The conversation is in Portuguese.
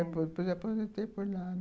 Depois aposentei por lá.